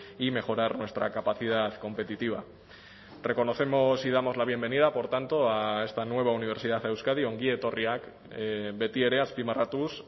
y mejorar nuestra capacidad competitiva reconocemos y damos la bienvenida por tanto a esta nueva universidad a euskadi ongietorriak betiere azpimarratuz